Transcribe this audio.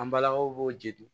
An balakaw b'o jeli